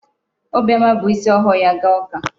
Obiọma bu isi ọhụụ ya gaa ụka.